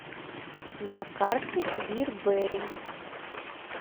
на карте бир бэрри